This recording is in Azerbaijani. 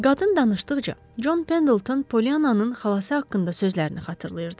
Qadın danışdıqca, Con Pendelton Polyannanın xalası haqqında sözlərini xatırlayırdı.